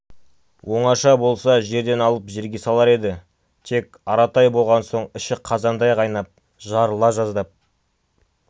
оңаша болса жерден алып жерге салар еді тек аратай болған соң іші қазандай қайнап жарыла жаздап